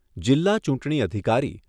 જિલ્લા ચૂંટણી અધિકારી